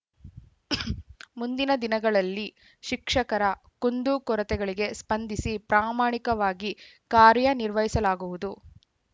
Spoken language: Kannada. ಮುಂದಿನ ದಿನಗಳಲ್ಲಿ ಶಿಕ್ಷಕರ ಕುಂದುಕೊರತೆಗಳಿಗೆ ಸ್ಪಂದಿಸಿ ಪ್ರಾಮಾಣಿಕವಾಗಿ ಕಾರ್ಯನಿರ್ವಹಿಸಲಾಗುವುದು